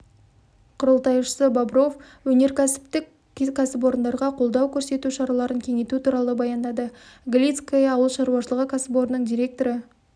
құрылтайшысы бобров өнеркәсіптік кәсіпорындарға қолдау көрсету шараларын кеңейту туралы баяндады галицкое ауыл шаруашылығы кәсіпорнының директоры